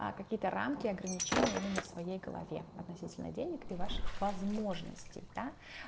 а какие-то рамки ограничения именно в своей голове относительное денег и ваших возможностей да